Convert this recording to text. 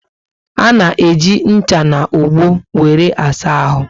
Ana eji ncha na ogbo wéré asa ahụ